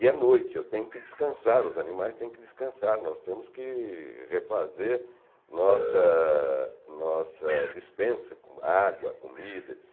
E é noite, eu tenho que descansar, os animais têm que descansar, nós temos que refazer nossa nossa dispensa, com água, comida, et